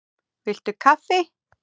Viltu kaffi?